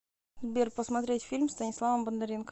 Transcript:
сбер посмотреть фильм с станиславом бондаренко